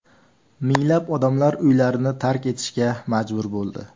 Minglab odamlar uylarini tark etishga majbur bo‘ldi.